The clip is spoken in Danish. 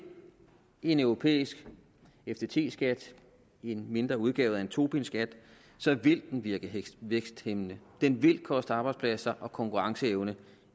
en europæisk ftt skat en mindre udgave af en tobinskat virke væksthæmmende den vil koste arbejdspladser og konkurrenceevne